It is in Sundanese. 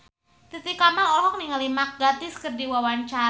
Titi Kamal olohok ningali Mark Gatiss keur diwawancara